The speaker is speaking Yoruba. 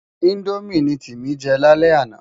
Indómi ni Timi jè lálè àná